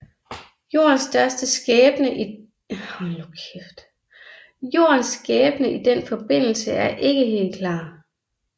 Jordens skæbne i den forbindelse er ikke helt klar